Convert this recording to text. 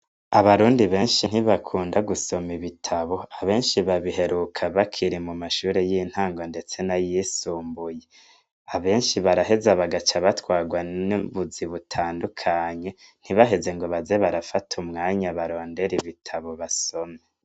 Abarundi benshi ntibakunda gusoma ibitabo, abenshi babiheruka bakiri mu mashure y'intango ndetse n'ayisumbuye. Abenshi baraheza bagaca batwarwa n'ubuzi butandukanye ntibaheze ngo baze barafata umwanya barodere ibitabo basome.